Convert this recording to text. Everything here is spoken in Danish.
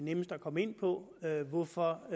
nemmest at komme ind på hvorfor